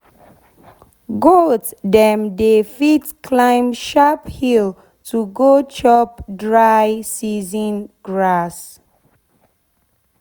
goat dem dey fit climb sharp hill to go chop dry season grass.